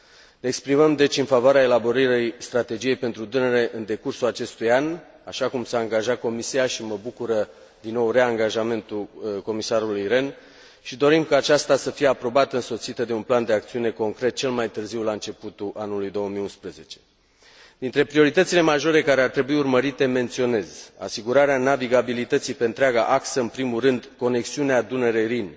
Ne exprimăm, deci, în favoarea elaborării strategiei pentru Dunăre în decursul acestui an, așa cum s a angajat Comisia și mă bucură din nou reangajamentul Comisarului Rehn și dorim ca aceasta să fie aprobată însoțită de un plan de acțiune concret, cel mai târziu la începutul anului 2011. Dintre prioritățile majore care ar trebui urmărite menționez asigurarea navigabilității pe întreaga axă, în primul rând conexiunea Dunăre Rin